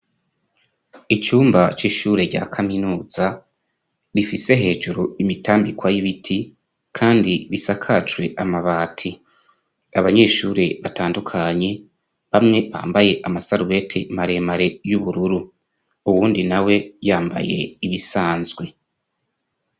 icyumba cy'ishure rya kaminuza rifise hejuru imitambikwa y'ibiti kandi risakajwe amabati abanyeshure batandukanye bamwe bambaye amasarubete maremare y'ubururu uwundi na we yambaye ibisanzwe